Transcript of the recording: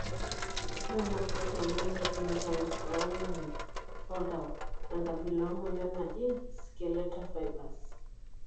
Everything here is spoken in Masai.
Ore enaprotein naa ketumi tongonyo oltau enkabila ongonyo naji skeleta fibars.